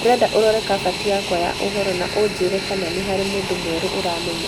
Ndĩrenda ũrore kabati yakwa ya ũhoro na ũnjĩĩre kana nĩ harĩ mũndũ mwerũ ũramenyera.